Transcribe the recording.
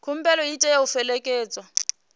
khumbelo i tea u fhelekedzwa